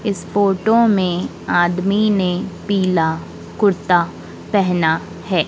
इस फोटो में आदमी ने पीला कुर्ता पहना है।